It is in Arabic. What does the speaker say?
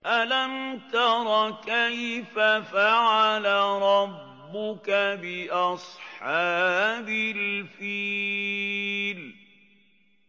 أَلَمْ تَرَ كَيْفَ فَعَلَ رَبُّكَ بِأَصْحَابِ الْفِيلِ